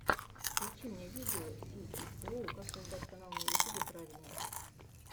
включи мне видео сииоу как создать канал на ютьюб правильно